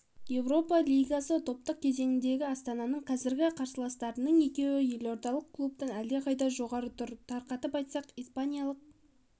еуропа лигасы топтық кезеңіндегі астананың қазіргі қарсыластарының екеуі елордалық клубтан әлдеқайда жоғары тұр тарқатып айтсақ испаниялық